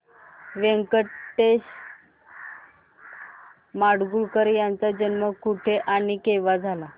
व्यंकटेश माडगूळकर यांचा जन्म कुठे आणि केव्हा झाला